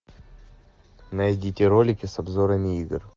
найдите ролики с обзорами игр